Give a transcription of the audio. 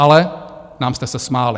Ale nám jste se smáli.